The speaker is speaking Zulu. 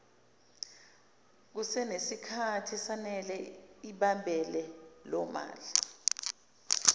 kusenesikhathi esanele izabelomali